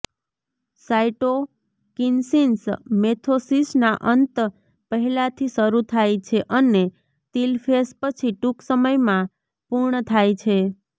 cytokinesis મેથોસિસના અંત પહેલાથી શરૂ થાય છે અને તિલફેસ પછી ટૂંક સમયમાં પૂર્ણ થાય છે